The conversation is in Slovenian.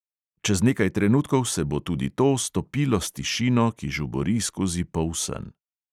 Čez nekaj trenutkov se bo tudi to stopilo s tišino, ki žubori skozi polsen.